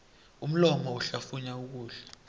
umlomo uhlafunya ukudla